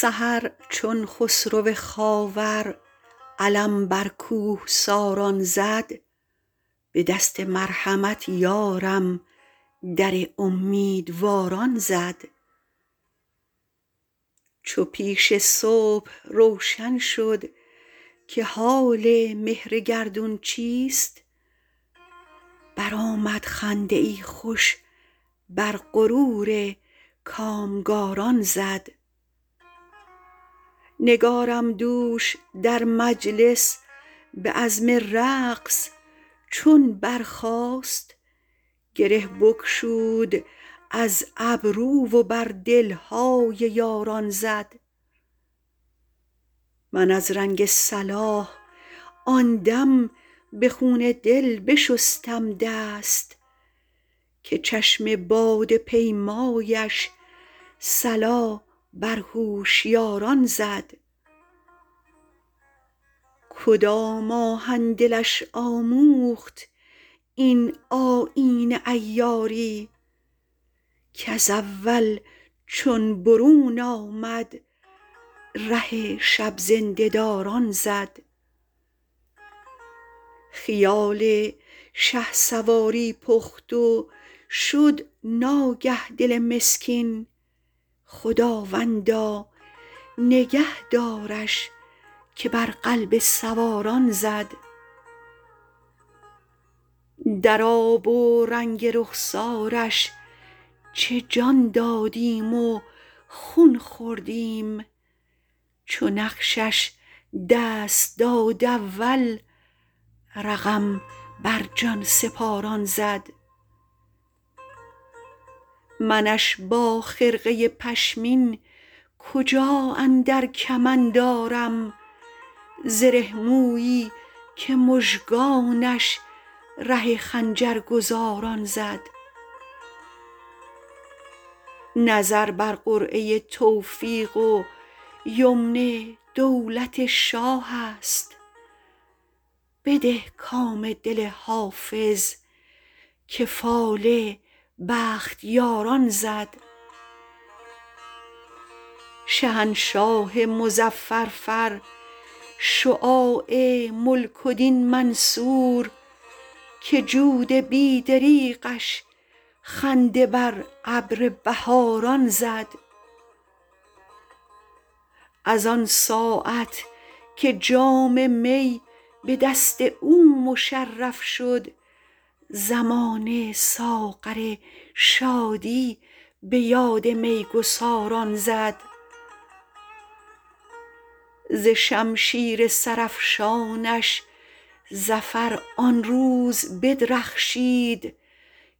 سحر چون خسرو خاور علم بر کوهساران زد به دست مرحمت یارم در امیدواران زد چو پیش صبح روشن شد که حال مهر گردون چیست برآمد خنده ای خوش بر غرور کامگاران زد نگارم دوش در مجلس به عزم رقص چون برخاست گره بگشود از گیسو و بر دل های یاران زد من از رنگ صلاح آن دم به خون دل بشستم دست که چشم باده پیمایش صلا بر هوشیاران زد کدام آهن دلش آموخت این آیین عیاری کز اول چون برون آمد ره شب زنده داران زد خیال شهسواری پخت و شد ناگه دل مسکین خداوندا نگه دارش که بر قلب سواران زد در آب و رنگ رخسارش چه جان دادیم و خون خوردیم چو نقشش دست داد اول رقم بر جان سپاران زد منش با خرقه پشمین کجا اندر کمند آرم زره مویی که مژگانش ره خنجرگزاران زد نظر بر قرعه توفیق و یمن دولت شاه است بده کام دل حافظ که فال بختیاران زد شهنشاه مظفر فر شجاع ملک و دین منصور که جود بی دریغش خنده بر ابر بهاران زد از آن ساعت که جام می به دست او مشرف شد زمانه ساغر شادی به یاد می گساران زد ز شمشیر سرافشانش ظفر آن روز بدرخشید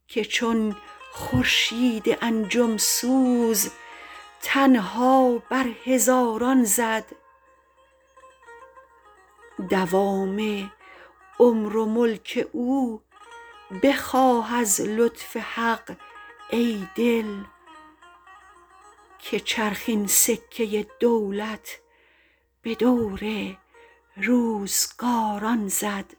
که چون خورشید انجم سوز تنها بر هزاران زد دوام عمر و ملک او بخواه از لطف حق ای دل که چرخ این سکه دولت به دور روزگاران زد